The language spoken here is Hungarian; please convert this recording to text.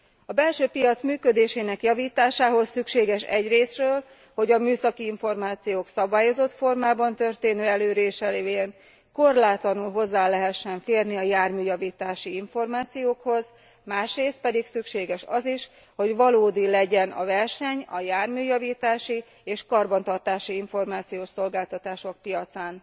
A belső piac működésének javításához szükséges egyrészről, hogy a műszaki információk szabályozott formában történő elérése révén korlátlanul hozzá lehessen férni a járműjavítási információkhoz, másrészt pedig szükséges az is, hogy valódi legyen a verseny a járműjavítási és karbantartási információszolgáltatások piacán.